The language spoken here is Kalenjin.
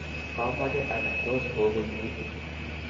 kamoche anai tos kokuituu.